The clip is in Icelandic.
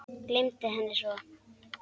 Gleymdi henni svo.